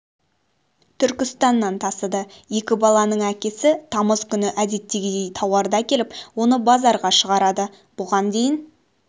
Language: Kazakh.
түркістаннан тасыды екі баланың әкесі тамыз күні әдеттегідей тауарды әкеліп оны базарға шығарады бұған дейін